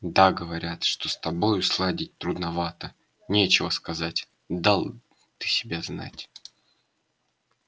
да говорят что с тобою сладить трудновато нечего сказать дал ты себя знать